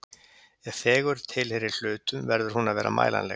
Ef fegurð tilheyrir hlutum, verður hún að vera mælanleg.